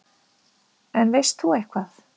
En veist þú eitthvað?